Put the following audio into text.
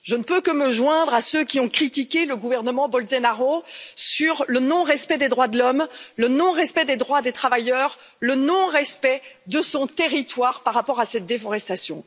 Je ne peux que me joindre à ceux qui ont critiqué le gouvernement Bolsonaro sur le non respect des droits de l'homme, le non respect des droits des travailleurs, le non respect de son territoire par rapport à cette déforestation.